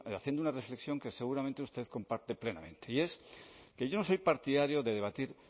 haciendo una reflexión que seguramente usted comparte plenamente y es que yo no soy partidario de debatir